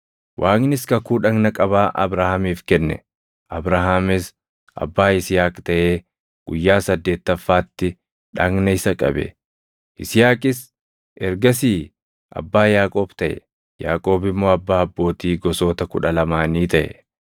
Waaqnis kakuu dhagna qabaa Abrahaamiif kenne; Abrahaamis abbaa Yisihaaq taʼee guyyaa saddeettaffaatti dhagna isa qabe; Yisihaaqis ergasii abbaa Yaaqoob taʼe; Yaaqoob immoo abbaa abbootii gosoota kudha lamaanii taʼe.